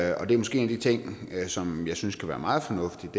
er måske en af de ting som jeg synes kunne være meget fornuftigt